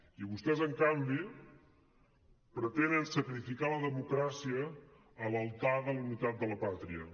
i vostès en canvi pretenen sacrificar la democràcia a l’altar de la unitat de la pàtria